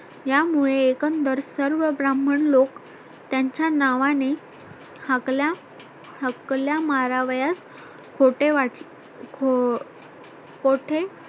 यामुळे एकंदर सर्व ब्राह्मण लोक त्यांच्या नावाने हाकल्या हक्कल्या मारावयास खोटे वाटते